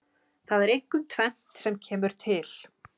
Það er einkum tvennt sem kemur til.